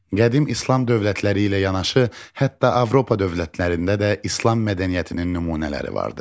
Qədim İslam dövlətləri ilə yanaşı hətta Avropa dövlətlərində də İslam mədəniyyətinin nümunələri vardır.